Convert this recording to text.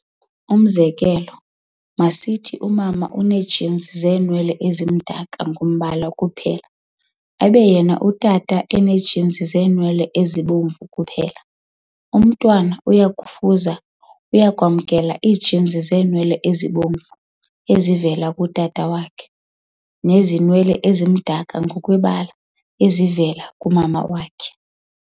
Umzekelo, masithi umama unee-genes zeenwele ezimdaka ngombala kuphela, abe yena utata enee-genes zeenwele ezibomvu kuphela. Umntwana uyakufuza - uyakwamkela - ii-genes zeenwele ezibomvu, ezivela kutata wakhe, nezenwele ezimdaka ngokwebala, ezivela kumama wakhe.